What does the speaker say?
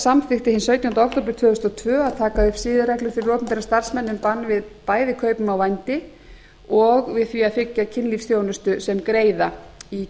samþykkti hinn sautjánda október tvö þúsund og tvö að taka upp siðareglur fyrir opinbera starfsmenn um bann við bæði kaupum á vændi og við því að þiggja kynlífsþjónustu sem greiða í